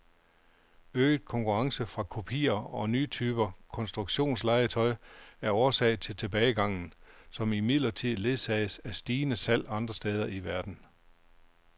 Øget konkurrence fra kopier og nye typer konstruktionslegetøj er årsag til tilbagegangen, som imidlertid ledsages af stigende salg andre steder i verden.